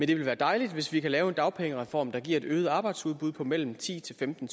det vil være dejligt hvis vi kan lave en dagpengereform der giver et øget arbejdsudbud på mellem ti til femten